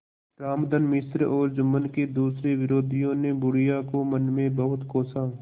रामधन मिश्र और जुम्मन के दूसरे विरोधियों ने बुढ़िया को मन में बहुत कोसा